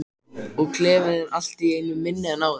Og klefinn er allt í einu minni en áður.